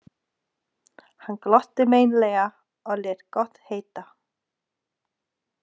Hann glotti meinlega og lét gott heita.